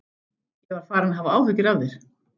Ég var farinn að hafa áhyggjur af þér.